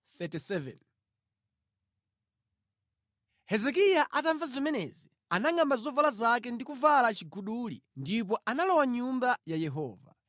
Mfumu Hezekiya atamva zimenezi, anangʼamba zovala zake navala chiguduli ndipo analowa mʼNyumba ya Yehova.